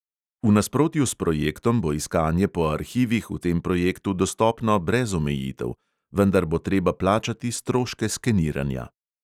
V nasprotju s projektom bo iskanje po arhivih v tem projektu dostopno brez omejitev, vendar bo treba plačati stroške skeniranja.